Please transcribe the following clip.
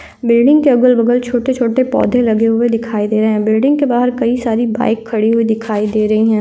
Building के अगल-बगल छोटे छोटे पौधे लगे हुए दिखाई दे रहे है बिल्डिंग के बाहर कई सारी बाइक खड़ी हुई दिखाई दे रही है।